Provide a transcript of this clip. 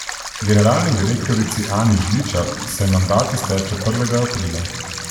Generalni direktorici Ani Žličar se mandat izteče prvega aprila.